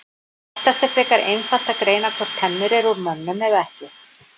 Oftast er frekar einfalt að greina hvort tennur eru úr mönnum eða ekki.